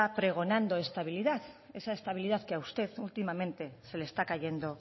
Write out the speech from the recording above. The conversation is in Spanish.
pregonando estabilidad esa estabilidad que a usted últimamente se le está cayendo